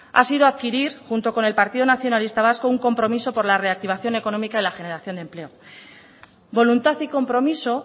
ha sido adquirir junto con el partido nacionalista vasco un compromiso por la reactivación económica y la generación de empleo voluntad y compromiso